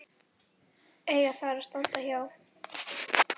eiga þar að standa hjá.